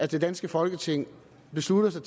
det danske folketing beslutter sig